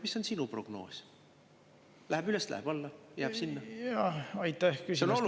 Mis on sinu prognoos, läheb see üles või läheb alla või jääb?